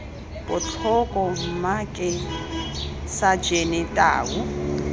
botlhoko mma ke sajene tau